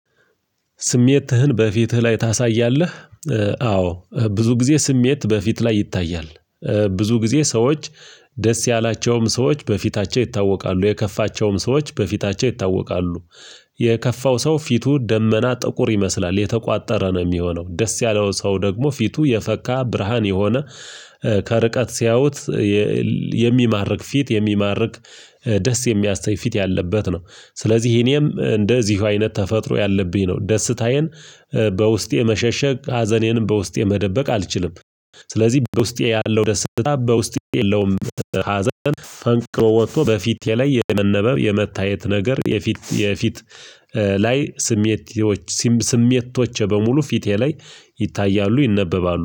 ስሜትህን በፊትህ ላይ ታሳያለህ? አዎ ብዙ ጊዜ ስሜት በፊት ላይ ይታያል፤ ብዙ ጊዜ ሰዎች ደስ ያላቸውም ሰዎች በፊታቸው ይታወቃሉ የከፋቸውም ሰዎች በፊታቸው ይታወቃሉ የከፋው ሰው ፊቱ ደመና ጥቁር ይመስላል የተቋጠረ ነው የሚሆነው፤ ደስ ያለው ሰው ደግሞ ፊቱ የፈካ ብርሃን የሆነ ከርቀት ሲያዩት የሚማርክ ፊት የሚማርክ ደስ የሚያሰኝ ፊት ያለበት ነው ስለዚህ እኔም እንደዚሁ አይነት ተፈጥሮ ያለብኝ ነው ደስታዬን በውስጤ መሸሸግ ሀዘኔንም በውስጤ መደበቅ አልችልም፤ ስለዚህ በውስጤ ያለው ደስታ ውስጥ ያለውም ሀዘን ፈንቅሎ ወጥቶ በፊቴ ላይ የመነበብ የመታየት ነገር የፊት የፊት ላይ ስሜቶች ስሜቶቼ በሙሉ ፊቴ ላይ ይታያሉ ይነበባሉ።